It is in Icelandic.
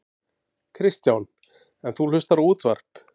Kristján: En þú hlustar á útvarp?